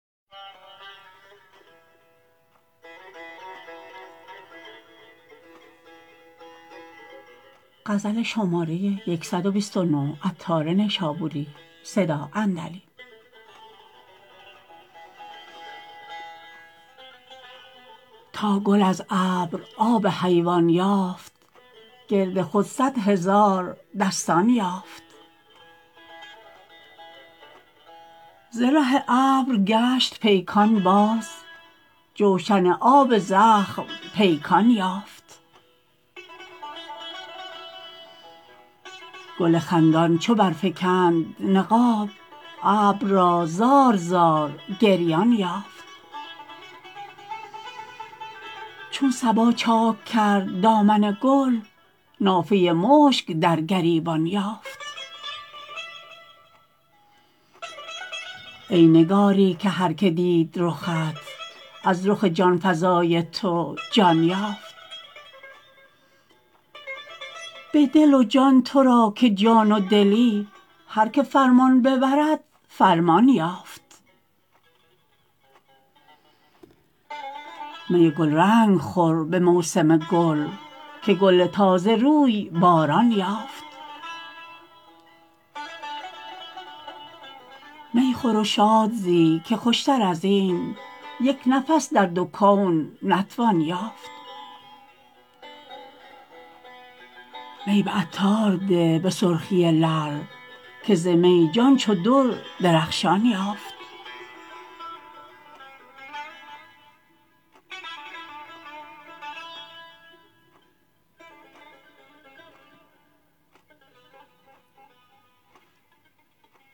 تا گل از ابر آب حیوان یافت گرد خود صد هزار دستان یافت زره ابر گشت پیکان باز جوشن آب زخم پیکان یافت گل خندان چو برفکند نقاب ابر را زار زار گریان یافت چون صبا چاک کرد دامن گل نافه مشک در گریبان یافت ای نگاری که هر که دید رخت از رخ جانفزای تو جان یافت به دل و جان تو را که جان و دلی هر که فرمان ببرد فرمان یافت می گلرنگ خور به موسم گل که گل تازه روی باران یافت می خور و شاد زی که خوشتر ازین یک نفس در دو کون نتوان یافت می به عطار ده به سرخی لعل که زمی جان چو در درخشان یافت